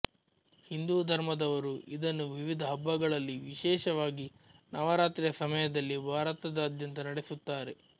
ಹಿಂದೂ ಧರ್ಮದವರು ಇದನ್ನು ವಿವಿಧ ಹಬ್ಬಗಳಲ್ಲಿ ವಿಶೇಷವಾಗಿ ನವರಾತ್ರಿಯ ಸಮಯದಲ್ಲಿ ಭಾರತದಾದ್ಯಂತ ನಡೆಸುತ್ತಾರೆ